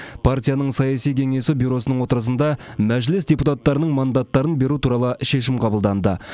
партияның саяси кеңесі бюросының отырысында мәжіліс депутаттарының мандаттарын беру туралы шешім қабылданды